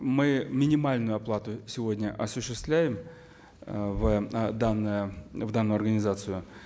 мы минимальную оплату сегодня осуществляем э в данное в данную организацию